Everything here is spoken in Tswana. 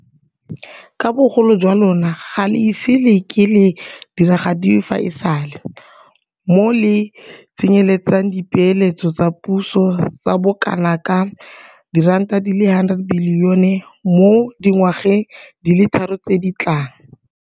Ka bogolo jwa lona ga le ise le ke le diragadiwe fa e sale, moo le tsenyeletsang dipeeletso tsa puso tsa bokanaka R100 bilione mo dingwageng di le tharo tse di tlang.